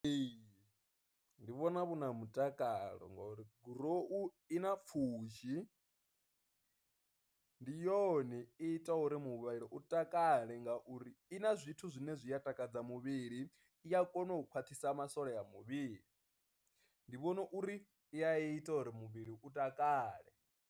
Ee, ndi vhona vhu na mutakalo ngori gurowu i na pfhushi, ndi yone i ita uri muvhili u takala kale ngauri i na zwithu zwine zwi a takadza muvhili i a kona u khwaṱhisa masole a muvhili, ndi vhona uri i i ita uri muvhili u takale.